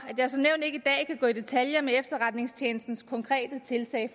at gå i detaljer med efterretningstjenestens konkrete tiltag